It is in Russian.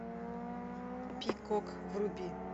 пикок вруби